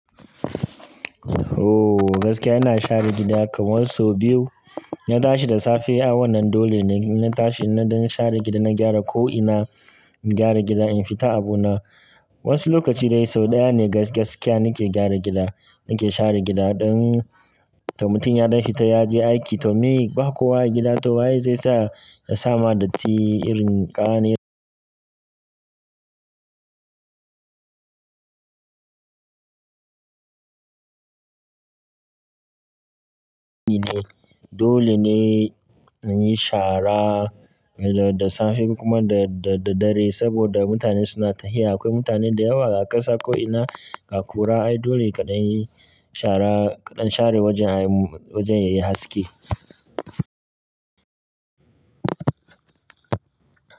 Ooh, gaskiya ina share gida kamar sau biyu. Na tashi da safe, a wannan dole ne na tashi na don share gida, na gyara ko'ina, gyara gida in fita abu na. Wasu lokaci dai sau ɗaya ne gaskiya nake gyara gida, nake share gida ɗan. Da mutum ya dan fita yaje aiki to me ba kowa a gida to wa ye zai sa ya sama datti irin ƙananu. Dole ne na yi shara da safe kuma da daddare saboda mutane suna tahiya. Akwai mutane da yawa a ƙasa ko'ina ga kura. Ai dole kaɗan yi shara, kaɗan share wajen wajen yayi haske.